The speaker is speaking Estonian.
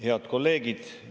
Head kolleegid!